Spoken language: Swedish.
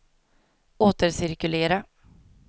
återcirkulera